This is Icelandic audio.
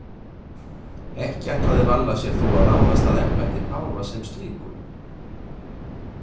Ekki ætlaði Valla sér þó að ráðast að embætti páfa sem slíku.